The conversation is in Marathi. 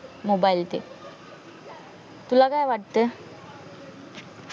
मोबाइल ते तुला काय वाटत